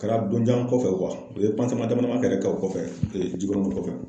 Kɛra don jan kɔfɛ u ye dama dama yɛrɛ kɛ o kɔfɛ jikɔrɔnin kɔfɛ.